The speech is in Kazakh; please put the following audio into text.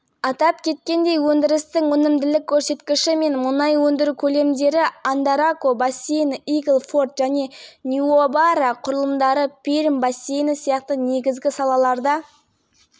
тақтатас мұнайын өндірудің өнімділігін төмендетудің тағы бір факторы бұрынғы игеру оңай ұңғымалардың сарқылуы және сланецтік формациялардың күрделілеу участкелеріне көшу болып отыр